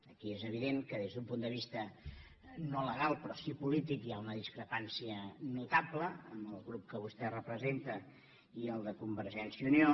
aquí és evident que des d’un punt de vista no legal però sí polític hi ha una discrepància notable entre el grup que vostè representa i el de convergència i unió